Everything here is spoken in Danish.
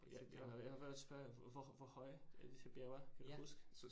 Ja, ja jeg har været at spørge, hvor hvor høje at disse bjerge er? Kan du huske?